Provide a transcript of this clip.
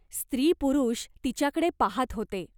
स्त्री पुरुष तिच्याकडे पाहात होते.